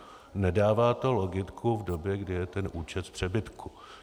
Nedává to logiku v době, kdy je ten účet v přebytku.